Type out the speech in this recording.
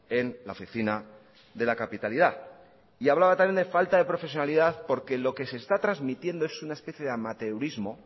en la oficina de la capitalidad y hablaba también de falta de profesionalidad porque lo que se está transmitiendo es una especie de amateurismo